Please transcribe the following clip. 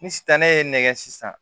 Ni sisan ne ye nɛgɛ sisan